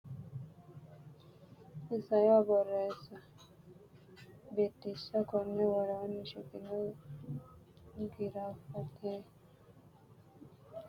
Isayyo Borreessa Biddissa Konni woroonni shiqino giraafete qiniishshi giddo umi barra shiqqino niwaaweta qara hedo xaphi assite fanu dargira borreessi.